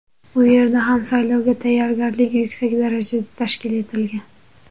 U yerda ham saylovga tayyorgarlik yuksak darajada tashkil etilgan.